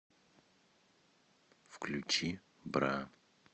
включи бра